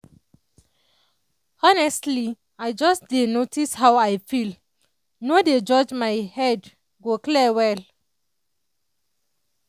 honestly if i just dey notice how i feel no dey judge my head go clear well.